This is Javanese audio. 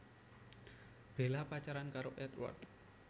Bella pacaran karo Édward